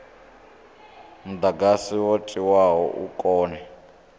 mudagasi wo tiwaho u kone